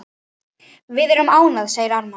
Við erum ánægð, segir Ármann.